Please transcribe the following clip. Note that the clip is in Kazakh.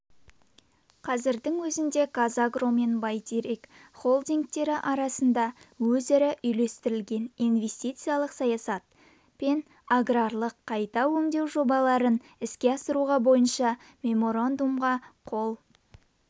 қазірдің өзінде қазагро мен бәйтерек холдингтері арасында өзара үйлестірілген инвестициялық саясат пен аграрлық қайта өңдеу жобаларын іске асыру бойынша меморандумға қол